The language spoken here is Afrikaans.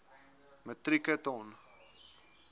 metrieke ton